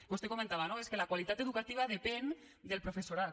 vostè comentava no és que la qualitat educativa depèn del professorat